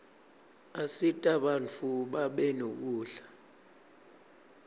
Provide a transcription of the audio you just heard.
asita bantfu babe nekudla